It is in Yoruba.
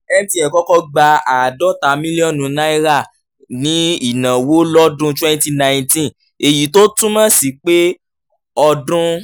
mtn kọ́kọ́ gba àádọ́ta mílíọ̀nù náírà ní ìnáwó lọ́dún twenty nineteen èyí tó túmọ̀ sí pé ọdún